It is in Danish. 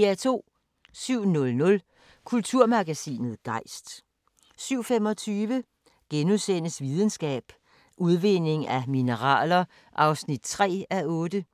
07:00: Kulturmagasinet Gejst 07:25: Videnskab: Udvinding af mineraler (3:8)*